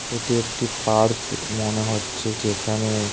এটি একটি পার্ক ই মনে হচ্ছে যেখানে।